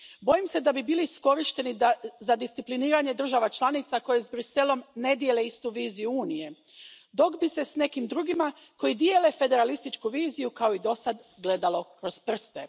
Bojim se da bi bili iskorišteni za discipliniranje država članica koje s Bruxellesom ne dijele istu viziju Unije, dok bi se nekim drugima, koji dijele federalističku viziju, kao i dosad gledalo kroz prste.